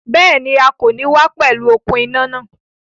Béèni, A kò ní wá pẹ̀lú okùn iná náà